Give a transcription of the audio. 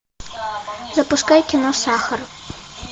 запускай кино сахар